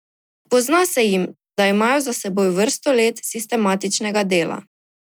Pozna se jim, da imajo za seboj vrsto let sistematičnega dela.